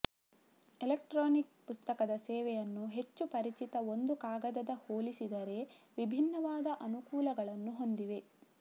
electronic ಪುಸ್ತಕದ ಸೇವೆಯನ್ನು ಹೆಚ್ಚು ಪರಿಚಿತ ಒಂದು ಕಾಗದದ ಹೋಲಿಸಿದರೆ ವಿಭಿನ್ನವಾದ ಅನುಕೂಲಗಳನ್ನು ಹೊಂದಿದೆ